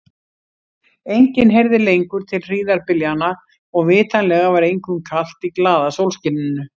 Enginn heyrði lengur til hríðarbyljanna og vitanlega var engum kalt í glaða sólskininu.